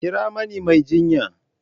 Kira mani mai jinya!